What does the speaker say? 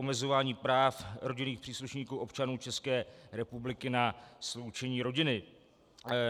Omezování práv rodinných příslušníků občanů České republiky na sloučení rodiny.